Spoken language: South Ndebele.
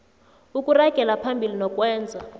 ukuragela phambili nokwenza